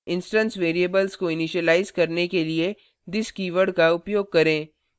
instance variables को initialise करने के लिए this कीवर्ड का उपयोग करें